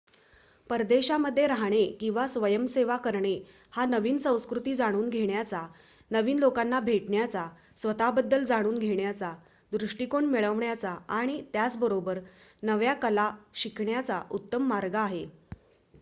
परदेशामध्ये राहणे आणि स्वयंसेवा करणे हा नवीन संस्कृती जाणून घेण्याचा नवीन लोकांना भेटण्याचा स्वत:बद्दल जाणून घेण्याचा दृष्टिकोन मिळवण्याचा आणि त्याचबरोबर नव्या कला शिकण्याचा उत्तम मार्ग आहे